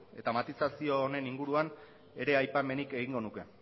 eta matizazio honen inguruan ere aipamenik egingo nuke